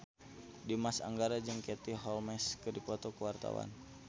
Dimas Anggara jeung Katie Holmes keur dipoto ku wartawan